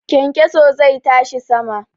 Kyankyaso zai tashi sama.